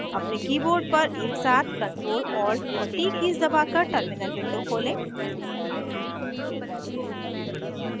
अपने keyboard पर एकसाथ ctrl alt और t कीज़ दबाकर terminal window खोलें